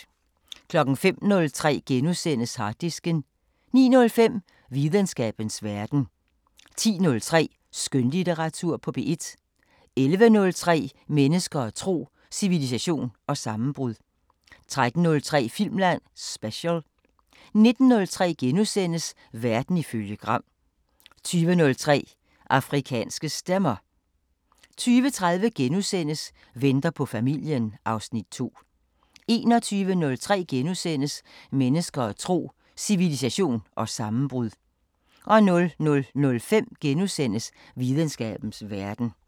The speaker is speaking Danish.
05:03: Harddisken * 09:05: Videnskabens Verden 10:03: Skønlitteratur på P1 11:03: Mennesker og tro: Civilisation og sammenbrud 13:03: Filmland Special 19:03: Verden ifølge Gram * 20:03: Afrikanske Stemmer 20:30: Venter på familien (Afs. 2)* 21:03: Mennesker og tro: Civilisation og sammenbrud * 00:05: Videnskabens Verden *